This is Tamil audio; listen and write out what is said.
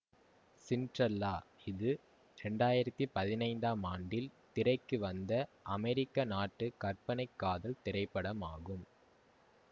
சிண்ட்ரெல்லா இது இரண்டாயிரத்தி பதினைந்தாம் ஆண்டில் திரைக்கு வந்த அமெரிக்க நாட்டு கற்பனை காதல் திரைப்படம் ஆகும்